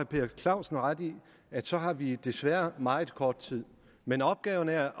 per clausen ret i at så har vi desværre meget kort tid men opgaven er